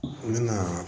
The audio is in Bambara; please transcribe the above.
N bɛna